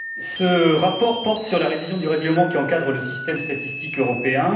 Ce rapport porte sur la révision du règlement qui encadre le système statistique européen.